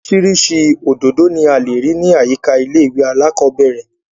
Orísirísi òdòdó ni a lè rí ní àyíká ilé ìwé alákọ́bẹ̀rẹ̀